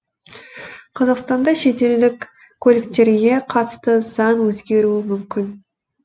қазақстанда шетелдік көліктерге қатысты заң өзгеруі мүмкін